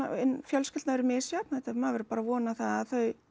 fjölskyldna eru misjöfn maður verður bara að vona það að þau